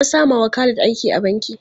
An sama wa Khalid aiki a banki.